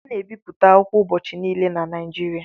A na-ebipụta akwụkwọ ubọchị niile na Naịjirịa